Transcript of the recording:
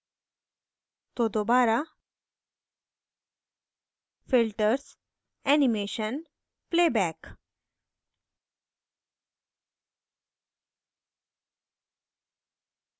तो दोबारा filters animation playback